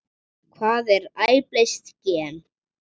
Hvað er splæst gen?